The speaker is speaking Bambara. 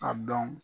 A dɔn